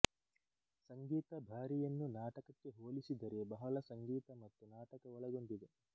ಸಂಗೀತ ಭಾರಿಯನ್ನು ನಾಟಕಕ್ಕೆ ಹೋಲಿಸಿದರೆ ಬಹಳ ಸಂಗೀತ ಮತ್ತು ನಾಟಕ ಒಳಗೊಂಡಿದೆ